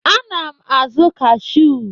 Ana m azụ kashụ.